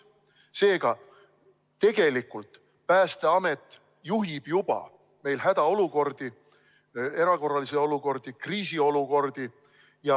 Seega, tegelikult Päästeamet juhib juba praegu tegutsemist hädaolukorras, erakorralises olukorras ja kriisiolukorras.